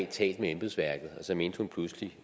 talt med embedsværket og så mente hun pludselig